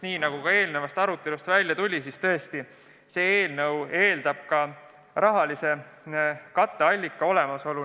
Nagu ka eelnevast arutelust välja tuli, loomulikult eeldavad muudatused ka katteallika olemasolu.